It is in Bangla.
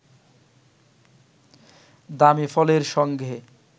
দামী ফলের সঙ্গে